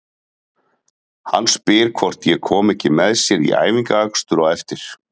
Hann spyr hvort ég komi ekki með sér í æfingaakstur á eftir.